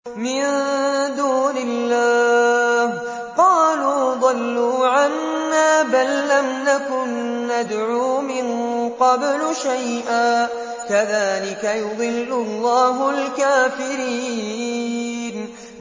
مِن دُونِ اللَّهِ ۖ قَالُوا ضَلُّوا عَنَّا بَل لَّمْ نَكُن نَّدْعُو مِن قَبْلُ شَيْئًا ۚ كَذَٰلِكَ يُضِلُّ اللَّهُ الْكَافِرِينَ